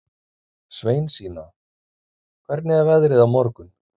Sveinsína, hvernig er veðrið á morgun?